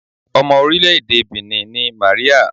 Ọmọ orílẹ̀-èdè Benin ni Màríà.